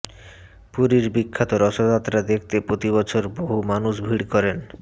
পুরীর বিখ্যাত রথযাত্রা দেখতে প্রতিবছর বহু মানুষ ভিড় করেন